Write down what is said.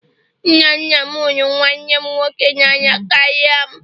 Nna nna m hụrụ nwanne m nwoke n'anya karịa m.